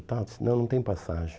tal, Ela disse, não, não tem passagem.